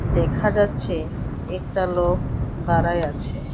দেখা যাচ্ছে একটা লোক দাঁড়ায় আছে।